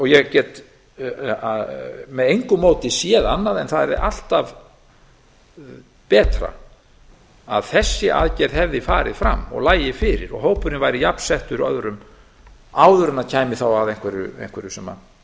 ég get með engu móti séð annað en það yrði alltaf betra að þessi aðgerð hefði farið fram og lægi fyrir og hópurinn væri jafn settur öðrum áður en kæmi að einhverju sem